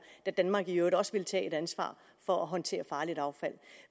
da danmark i øvrigt også ville tage et ansvar for at håndtere farligt affald